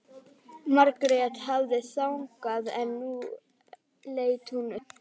Margrét hafði þagað en nú leit hún upp.